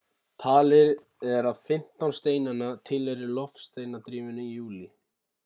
talið er að 15 steinanna tilheyri loftsteinadrífunni í júlí